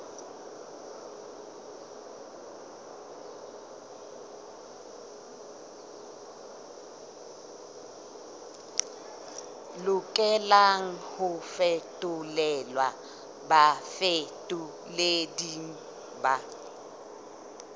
lokelang ho fetolelwa bafetoleding ba